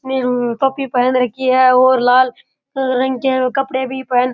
ने टोपी पहन राखी है और लाल रंग के कपडे भी पहन --